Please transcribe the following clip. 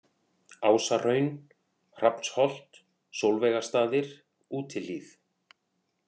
Ásahraun, Hrafnsholt, Sólveigarstaðir, Útihlíð